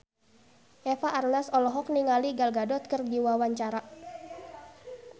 Eva Arnaz olohok ningali Gal Gadot keur diwawancara